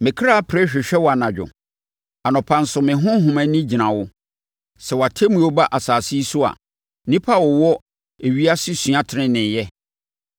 Me kra pere hwehwɛ wo anadwo; anɔpa nso me honhom ani gyina wo. Sɛ wʼatemmuo ba asase yi so a, nnipa a wɔwɔ ewiase sua tenenee yɛ.